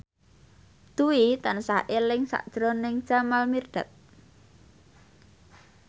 Dwi tansah eling sakjroning Jamal Mirdad